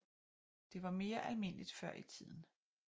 Det var mere almindeligt før i tiden